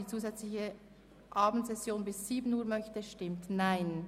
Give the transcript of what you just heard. Sie haben sich für den Ordnungsantrag Amstutz entschieden.